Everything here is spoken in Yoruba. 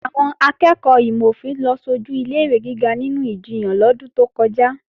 Àwọn akẹ́ẹ̀kọ́ ìmò-òfin ló sojù ilé-ìwé gíga nínú ìjiyàn lọ́dún tó kọjá